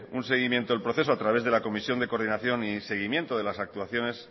un seguimiento al proceso a través de la comisión de coordinación y seguimiento de las actuaciones